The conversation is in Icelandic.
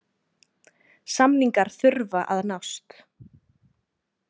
Samningar þurfa að nást.